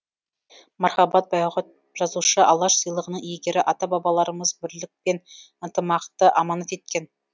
мархабат байғұт жазушы алаш сыйлығының иегері ата бабаларымыз бірлік пен ынтымақты аманат еткен